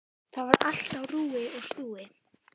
Þar var allt á rúi og stúi.